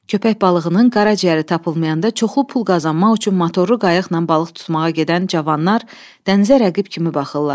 Köpək balığının qaraciyəri tapılmayanda çoxlu pul qazanmaq üçün motorlu qayıqla balıq tutmağa gedən cavanlar dənizə rəqib kimi baxırlar.